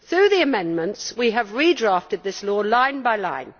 Through the amendments we have redrafted this law line by line.